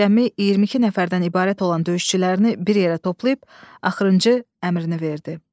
Cəmi 22 nəfərdən ibarət olan döyüşçülərini bir yerə toplayıb axırıncı əmrini verdi.